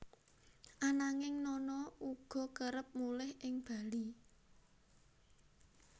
Ananging Nana uga kerep mulih ing Bali